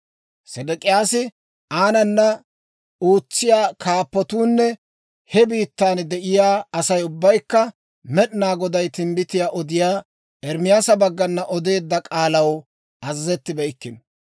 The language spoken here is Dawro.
Sedek'iyaasi, aanana ootsiyaa Kaappatuunne he biittan de'iyaa Asay ubbaykka Med'inaa Goday timbbitiyaa odiyaa Ermaasa baggana odeedda k'aalaw azazettibeykkino.